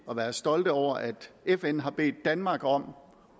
at være stolte over at fn har bedt danmark om